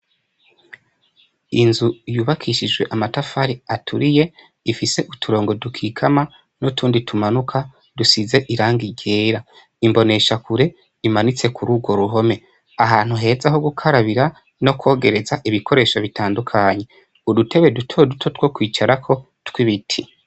Inzu yubakishijwe amatafari aturiye, ifise uturongo dukikama ,n'utundi tumanuka ,dusize irangi ryera, imbonesha kure imanitse kur'urwo ruhome, ahantu heza ho gukarabira no kwogereza ibikoresho bitandukanye, udutebe duto duto two kwicarako tw'ibiti.